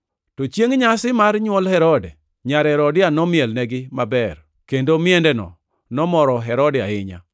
To chiengʼ nyasi mar nywol Herode, nyar Herodia nomielnegi maber, kendo miendeno nomoro Herode ahinya,